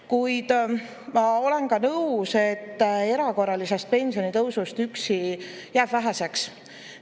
Kuid ma olen nõus, et erakorralisest pensionitõusust üksi jääb väheseks.